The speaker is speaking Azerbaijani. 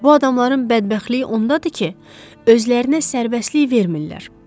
Bu adamların bədbəxtliyi ondadır ki, özlərinə sərbəstlik vermirlər.